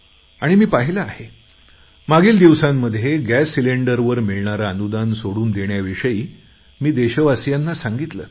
आणि मी पाहिले आहे मागील दिवसांमध्ये गॅस सिलेंडरवर मिळणारे अनुदान सोडून देण्याविषयी मी देशवासियांना सांगितले